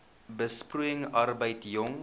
besproeiing arbeid jong